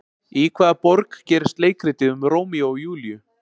Í hvaða borg gerist leikritið um Rómeó og Júlíu?